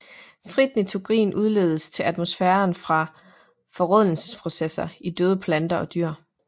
Frit nitrogen udledes til atmosfæren fra forrådnelsesprocesser i døde planter og dyr